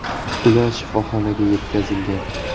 Ular shifoxonaga yetkazilgan.